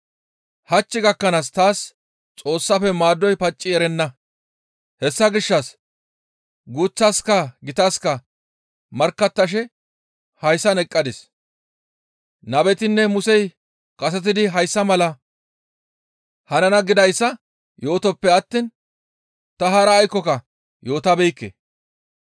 Hach gakkanaaska taas Xoossafe maadoy pacci erenna; hessa gishshas guuththaska gitaska markkattashe hayssan eqqadis; nabetinne Musey kasetidi hayssa malay hanana gidayssa yootoppe attiin ta hara aykkoka yootabeekke.